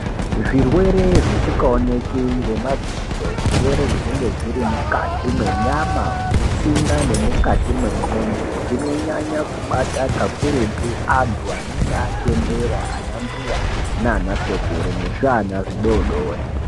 Zvirwere zvisingaoneki ngemadziso zvirwere zvinenge zviri mukati mwenyama mutsinga nemukati mwe ndxondo zvirwere zvinonyanya kubata kakurutu antu anenge achembera anambuya nana sekuru nezviana zvidodori.